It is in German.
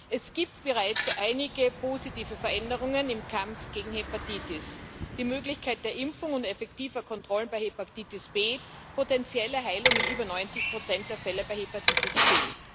Es gibt bereits einige positive Veränderungen im Kampf gegen Hepatitis die Möglichkeit der Impfung und effektiver Kontrollen bei Hepatitis B, potenzielle Heilung in über 90 Prozent der Fälle bei Hepatitis C.